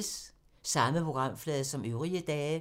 Samme programflade som øvrige dage